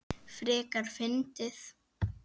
Frekar fyndið!